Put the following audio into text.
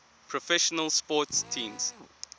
professional sports teams